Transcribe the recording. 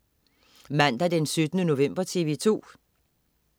Mandag den 17. november - TV2: